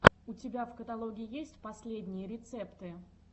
у тебя в каталоге есть последние рецепты